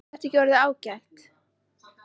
Er þetta ekki orðið ágætt?